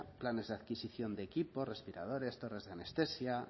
planes de adquisición de equipos respiradores torres de anestesia